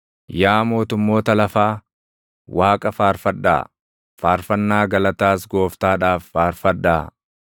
Yaa mootummoota lafaa, Waaqa faarfadhaa; faarfannaa galataas Gooftaadhaaf faarfadhaa;